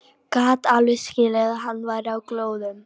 Gat alveg skilið að hann væri á glóðum.